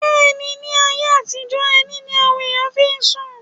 Bẹ́ẹ̀ ni, ní ayé àtijọ́, ẹní ní àwọn èèyàn fí ń sùn.